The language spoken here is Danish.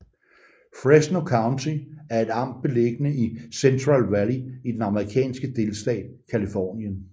Fresno County er et amt beliggende i Central Valley i den amerikanske delstat Californien